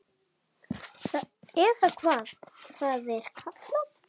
Eða hvað það er kallað.